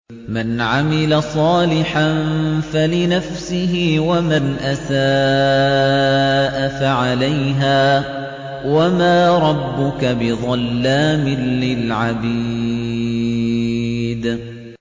مَّنْ عَمِلَ صَالِحًا فَلِنَفْسِهِ ۖ وَمَنْ أَسَاءَ فَعَلَيْهَا ۗ وَمَا رَبُّكَ بِظَلَّامٍ لِّلْعَبِيدِ